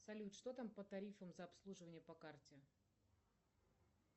салют что там по тарифам за обслуживание по карте